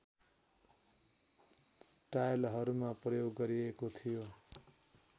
टाइलहरूमा प्रयोग गरिएको थियो